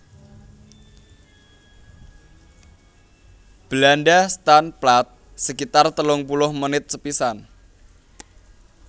Belanda staan plaat sekitar telung puluh menit sepisan